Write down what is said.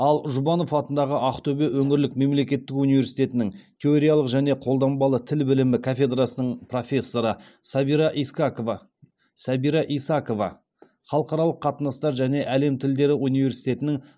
ал жұбанов атындағы ақтөбе өңірлік мемлекеттік университетінің теориялық және қолданбалы тіл білімі кафедрасының профессоры сәбира искакова сәбира исакова халықаралық қатынастар және әлем тілдері университетінің